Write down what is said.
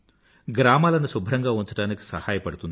గ్రామాలను శుభ్రంగా ఉంచడానికి సహాయపడుతుంది